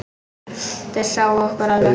Þeir sáu okkur alveg!